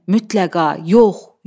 Mütləqa yox, yox.